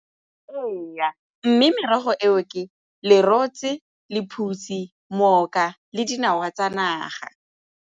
Ee, mme merogo eo ke lerotse, lephutsi, le dinawa tsa naga.